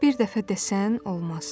Bir dəfə desən olmaz.